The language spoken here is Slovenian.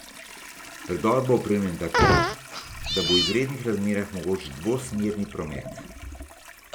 Predor bo opremljen tako, da bo v izrednih razmerah mogoč dvosmerni promet.